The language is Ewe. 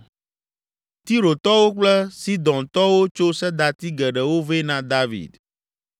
Tirotɔwo kple Sidontɔwo tso sedati geɖewo vɛ na David.